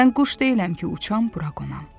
Mən quş deyiləm ki, uçam, bura qonam.